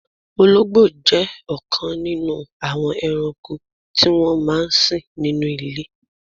Ọlọ́gbò jẹ́ ọkan nínú àwọn èrànko ti wọn máa n sìn nínú ilẹ̀ wọn.